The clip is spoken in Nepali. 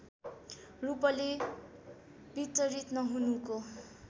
रूपले वितरित नहुनुको